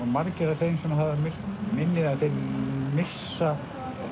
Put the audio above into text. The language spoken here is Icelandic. margir af þeim sem hafa misst minnið þeir missa